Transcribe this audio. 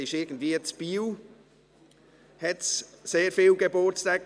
Da gab es irgendwie in Biel sehr viele Geburtstage.